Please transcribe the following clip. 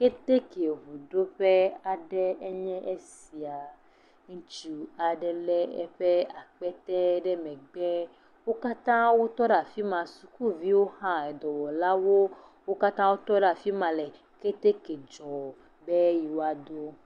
Keteke ŋuɖoƒe aɖee nye esia, ŋutsu aɖe lé eƒe akpete ɖe megbe, wo katã wo tɔ ɖe afi ma, sukuviwo hã edɔwɔlawo, wo katã wotɔ ɖe afi ma le keteke dzɔm be yewoaɖo.